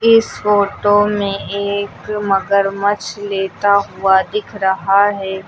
इस फोटो में एक मगरमच्छ लेटा हुआ दिख रहा है।